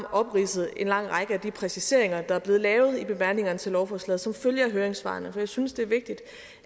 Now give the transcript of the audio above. opridset en lang række af de præciseringer der er blevet lavet i bemærkningerne til lovforslaget som følge af høringssvarene jeg synes det er vigtigt